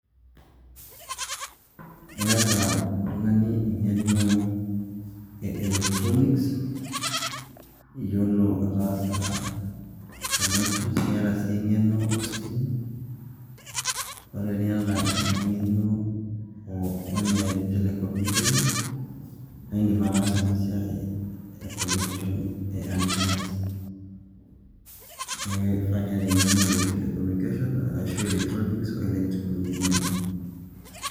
iyata oltungani engeno ee electronics iyiolo ataasa connections niata sii engeno ositima ore iyata ina ngeno one telecommunications na indim atasaa ena siai ee connection eeh antenass niaku keifaa piata engeno ee telecommunication arashu electronics o electrical engineering.